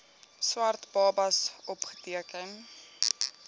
swart babas opgeteken